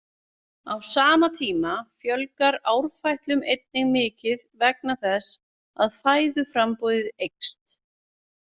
Á sama tíma fjölgar árfætlum einnig mikið vegna þess að fæðuframboðið eykst.